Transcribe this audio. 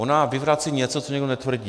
Ona vyvrací něco, co nikdo netvrdí.